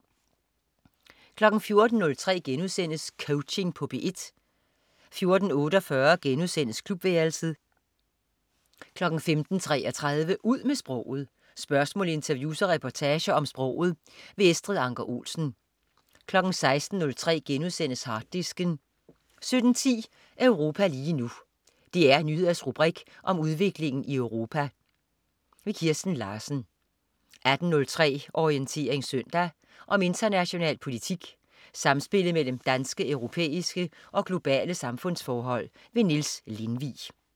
14.03 Coaching på P1* 14.48 Klubværelset* 15.33 Ud med sproget. Spørgsmål, interviews og reportager om sproget. Estrid Anker Olsen 16.03 Harddisken* 17.10 Europa lige nu. DR Nyheders rubrik om udviklingen i Europa. Kirsten Larsen 18.03 Orientering søndag. om international politik, samspillet mellem danske, europæiske og globale samfundsforhold. Niels Lindvig